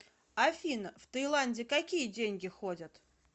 афина в таиланде какие деньги ходят